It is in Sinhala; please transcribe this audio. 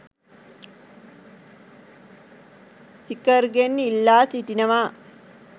සිකර්ගෙන් ඉල්ලා සිටිනවා